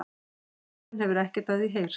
Síðan hefur ekkert af því heyrst